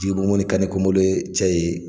cɛ ye